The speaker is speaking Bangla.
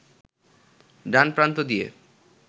ডান প্রান্ত দিয়ে